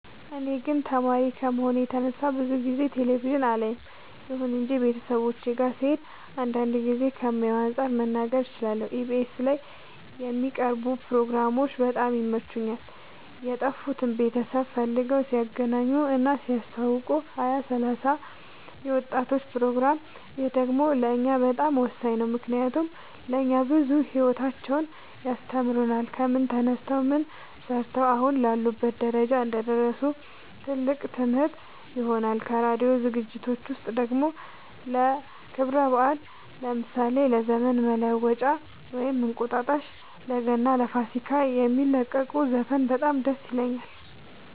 እኔ ግን ተማሪ ከመሆኔ የተነሳ ብዙ ጊዜ ቴሌቪዥን አላይም ይሁን እንጂ ቤተሰቦቼ ጋ ስሄድ አንዳንድ ጊዜ ከማየው አንፃር መናገር እችላለሁ ኢቢኤስ ላይ የሚቀርቡ ፕሮግራሞች በጣም ይመቹኛል የጠፉትን ቤተሰብ ፈልገው ሲያገናኙ እና ሲያስተዋውቁ ሀያ ሰላሳ የወጣቶች ፕሮግራም ይህ ደግሞ ለእኛ በጣም ወሳኝ ነው ምክንያቱም ለእኛ ብዙ ሂወታቸውን ያስተምሩናል ከምን ተነስተው ምን ሰርተው አሁን ላሉበት ደረጃ እንደደረሱ ትልቅ ትምህርት ይሆነናል ከራዲዮ ዝግጅት ውስጥ ደግሞ ለክብረ በአል ለምሳሌ ለዘመን መለወጫ ወይም እንቁጣጣሽ ለገና ለፋሲካ የሚለቁት ዘፈን በጣም ደስ ይለኛል